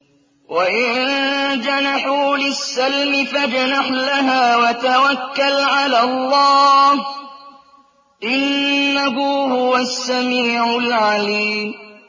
۞ وَإِن جَنَحُوا لِلسَّلْمِ فَاجْنَحْ لَهَا وَتَوَكَّلْ عَلَى اللَّهِ ۚ إِنَّهُ هُوَ السَّمِيعُ الْعَلِيمُ